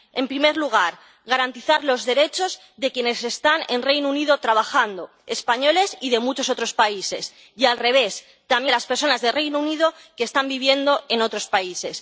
En primer lugar, garantizar los derechos de quienes están en el Reino Unido trabajando, españoles y de muchos otros países, y al revés, también de las personas del Reino Unido que están viviendo en otros países.